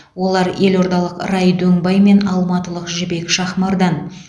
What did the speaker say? олар елордалық рай дөңбай мен алматылық жібек шахмардан